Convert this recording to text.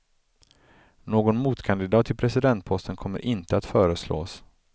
Någon motkandidat till presidentposten kommer inte att föreslås.